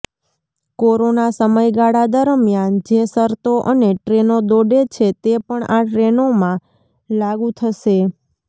corona સમયગાળા દરમિયાન જે શરતો અને ટ્રેનો દોડે છે તે પણ આ ટ્રેનોમાં લાગુ થશે